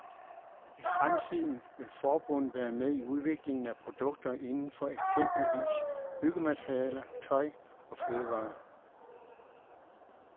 I fremtiden vil forbundet være med i udviklingen af produkter indenfor eksempelvis byggematerialer, tøj og fødevarer.